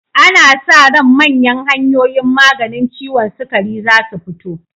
Ana sa ran manyan hanyoyin maganin ciwon sukari zasu fito.